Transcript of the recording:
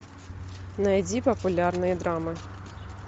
найди популярные драмы